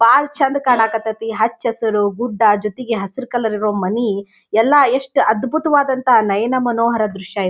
ಬಹಳ ಚೆಂದ್ ಕಾನಾಕ್ ಅತ್ತತ್ತಿ ಹಚ್ಚಸುರು ಗುಡ್ಡ ಜೊತೆಗೆ ಹಸಿರು ಕಲರ್ ಇರೋ ಮನೀ ಎಲ್ಲಾ ಎಷ್ಟ್ ಅದ್ಬುತವಾದಂಥ ನಯನ ಮನೋಹರ ದೃಶ್ಯ ಇ --